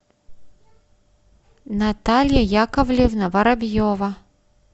наталья яковлевна воробьева